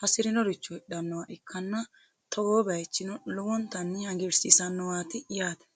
hasirinoricho hidhanoha ikanna togoo baayichi lowontanni hagiirsiisanoho yaate.